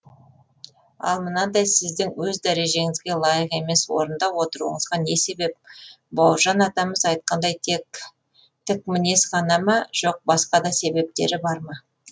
ал мынандай сіздің өз дәрежеңізге лайық емес орында отыруыңызға не себеп бауыржан атамыз айтқандай тек тік мінез ғана ма жоқ басқа да себептері бар ма